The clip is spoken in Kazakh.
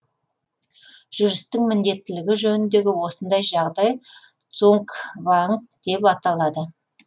жүрістің міндеттілігі жөніндегі осындай жағдай цугцванг деп аталады